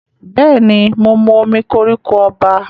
Bẹ́ẹ̀ ni, mo mu omí koríko ọba.